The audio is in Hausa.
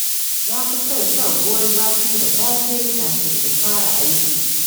Na fi son shan ruwan zafi da safe kafin in fara aiki.